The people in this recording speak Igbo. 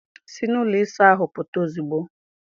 Si n'ụlọ ịsa ahụ pụta ozugbo!